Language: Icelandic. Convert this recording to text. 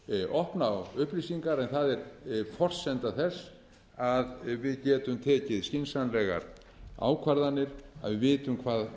opna á upplýsingar en það er forsenda þess að við getum tekið skynsamlegar ákvarðanir að við vitum hvað